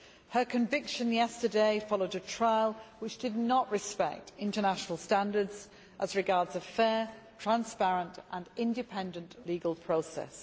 Her conviction yesterday followed a trial which did not respect international standards as regards a fair, transparent and independent legal process.